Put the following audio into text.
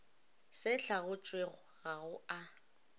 se hlaotšwego ga go a